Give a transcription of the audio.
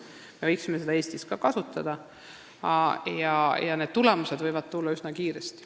Me võiksime Eestis ka seda lähenemist kasutada, tulemused võivad tulla üsna kiiresti.